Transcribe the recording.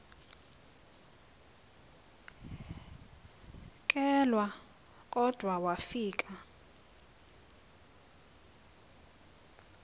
kelwa kodwa wafika